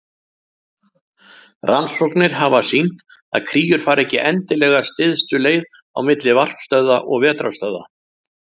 Rannsóknir hafa sýnt að kríur fara ekki endilega stystu leið á milli varpstöðva og vetrarstöðva.